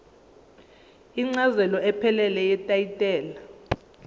incazelo ephelele yetayitela